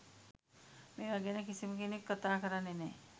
මේවා ගැන කිසිමකෙන්ක් කතා කරන්නේ නෑ.